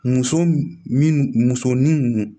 Muso minnu muso ni